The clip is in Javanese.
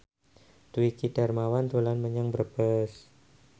Dwiki Darmawan dolan menyang Brebes